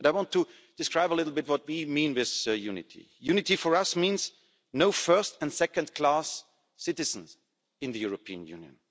And I want to describe a little bit what we mean with unity. Unity for us means no first and second-class citizens in the European Union.